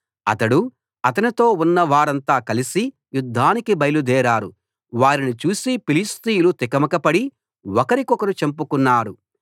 అతడూ అతనితో ఉన్నవారంతా కలిసి యుద్ధానికి బయలుదేరారు వారిని చూసి ఫిలిష్తీయులు తికమకపడి ఒకరినొకరు చంపుకున్నారు